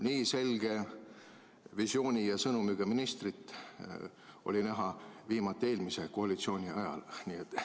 Nii selge visiooni ja sõnumiga ministrit oli viimati näha eelmise koalitsiooni ajal.